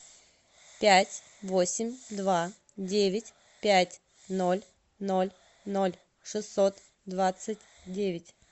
пять восемь два девять пять ноль ноль ноль шестьсот двадцать девять